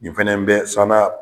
Nin fana bɛɛ sɔnna.